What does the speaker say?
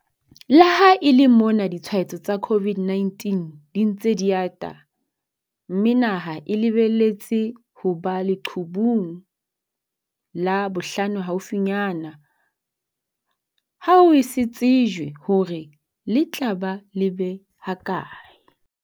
Le ha e le mona ditshwaetso tsa COVID-19 di ntse di ata mme naha e lebelletse ho ba leqhubung la bohlano haufinyana, ha ho eso tsejwe hore le tla ba lebe ha kae.